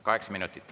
Kaheksa minutit.